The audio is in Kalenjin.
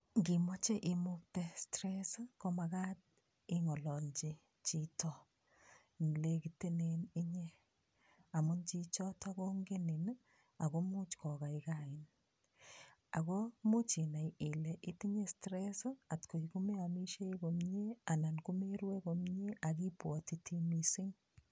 Ngimoche imukte stress ii ko makat ingololchi chito ne lekitenen inye, amun chichoto kongenin ii akomuch kokaikain, ako much inai ile itinye stress ii atkoi ko meamisie komie, anan ko merue komie ak ibwatiti mising.